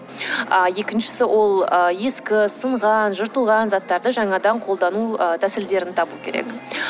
ы екіншісі ол ы ескі сынған жыртылған заттарды жаңадан қолдану ы тәсілдерін табу керек